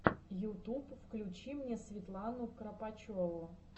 ютуб включи мне светлану кропочеву